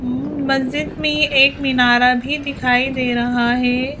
मस्जिद में एक मिनारा भी दिखाई दे रहा हैं।